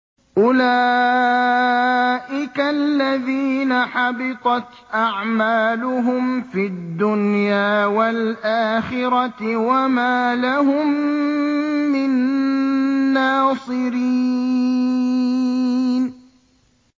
أُولَٰئِكَ الَّذِينَ حَبِطَتْ أَعْمَالُهُمْ فِي الدُّنْيَا وَالْآخِرَةِ وَمَا لَهُم مِّن نَّاصِرِينَ